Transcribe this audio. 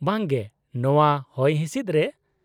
-ᱵᱟᱝ ᱜᱮ, ᱱᱚᱶᱟ ᱦᱚᱭᱦᱤᱸᱥᱤᱫ ᱨᱮ ?